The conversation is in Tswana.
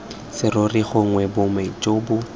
serori gongwe boma jo bo